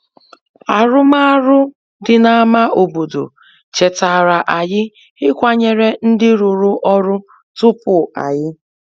Arụmarụ dị n’ámá obodo chetara anyị ịkwanyere ndị rụrụ ọrụ tupu anyị.